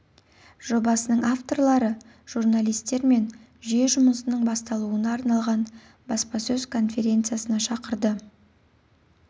жобасының авторлары журналистер мен жүйе жұмысының басталуына арналған баспасөз конференциясына шақырды